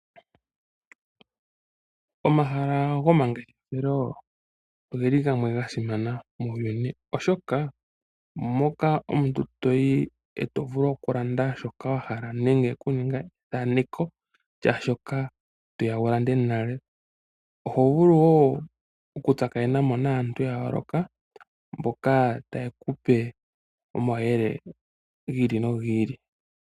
Omahala gomangeshefelo ogeli gasimana unene oshoka moka omuntu to vulu oku ya e to landa shoka wahala nenge okuninga ethaneko lyaashoka toya wulande nale, oho vulu woo okutsakanenamo naantu yayooloka mboka taye kupe omauyelele giili nogiili.